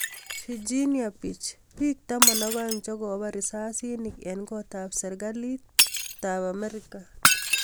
virginia beach biik taman ak aeng chekobar risasinik eng kotab serikali tab amerika